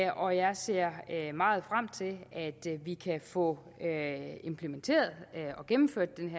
og jeg ser meget frem til at vi kan få implementeret og gennemført den